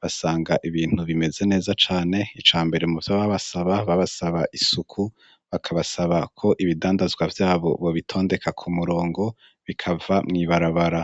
basanga ibintu bimeze neza cane. Ica mbere mu vyo babasaba, babasaba isuku, bakabasaba ko ibidandazwa vyabo bobitondeka ku murongo bikava mw'ibarabara.